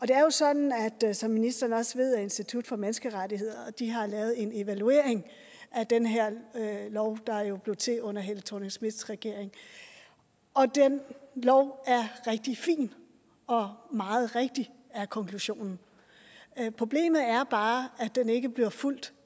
det er jo sådan som ministeren også ved at institut for menneskerettigheder har lavet en evaluering af den her lov der jo blev til under helle thorning schmidts regering og den lov er rigtig fin og meget rigtig er konklusionen problemet er bare at den ikke bliver fulgt